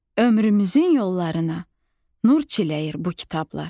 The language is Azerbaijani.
Ömrümüzün yollarına nur çiləyir bu kitablar.